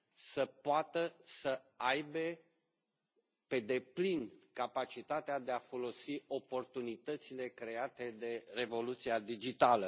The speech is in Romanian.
să poată să aibă pe deplin capacitatea de a folosi oportunitățile create de revoluția digitală.